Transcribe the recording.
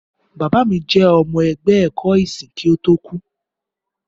Bàbá mi jẹ́ ọmọ ẹgbẹ́ ẹ̀kọ́ ìsìn kí ó tó kú.